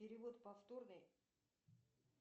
перевод повторный